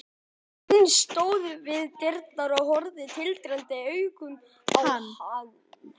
Hún stóð við dyrnar og horfði tindrandi augum á hann.